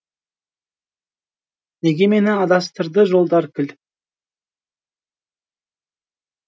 неге мені адастырды жолдар кіл